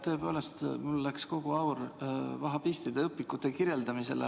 Tõepoolest, mul läks kogu aur vahhabistide õpikute kirjeldamisele.